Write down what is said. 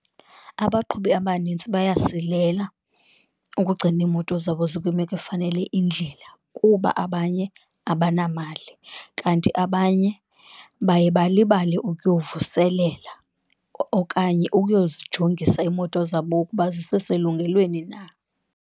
Abaqhubi abanintsi bayasilela ukugcina iimoto zabo zikwimeko efanele indlela kuba abanye abanamali, kanti abanye baye balibale ukuyovuselela okanye uyozijongisa iimoto zabo ukuba ziseselungelweni na.